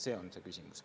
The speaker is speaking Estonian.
See on see küsimus.